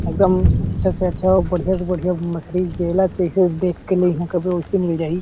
एकदम अच्छा से अच्छा अउ बढ़िया से बढ़िया मछली जेला जसन देख के लइहा कबे वैसी मिल जहि --